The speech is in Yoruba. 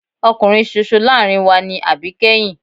Ọkùnrin ṣoṣo láàárín wa ni àbíkẹ́yìn.